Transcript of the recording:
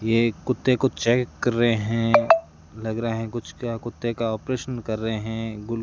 ये एक कुत्ते को चेक कर रहे हैं लग रहा हैं कुछ क्या कुत्ते का ऑपरेशन कर रे हैं गुल --